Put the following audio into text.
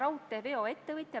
Aitäh!